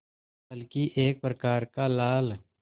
बल्कि एक प्रकार का लाल